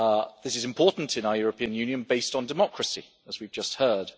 This is important in our European Union based on democracy, as we have just heard.